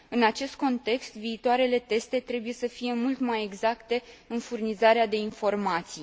În acest context, viitoarele teste trebuie să fie mult mai exacte în furnizarea de informații.